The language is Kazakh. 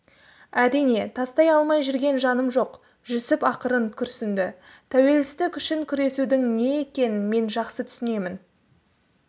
әрине тастай алмай жүрген жаным жоқ жүсіп ақырын күрсінді тәуелсіздік үшін күресудің не екенін мен жақсы түсінемін